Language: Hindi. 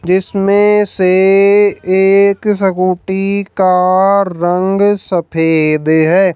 जिसमें से एक स्कूटी का रंग सफेद है।